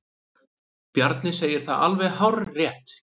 Bjarni segir það alveg hárrétt.